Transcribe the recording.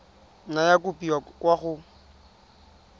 nna ya kopiwa kwa go